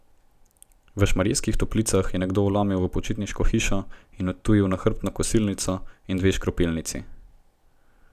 V Šmarjeških Toplicah je nekdo vlomil v počitniško hišo in odtujil nahrbtno kosilnico in dve škropilnici.